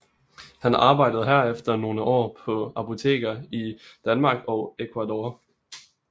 Han arbejdede herefter nogle år på apoteker i Danmark og Ecuador